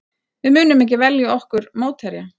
Við munum ekki velja okkur mótherja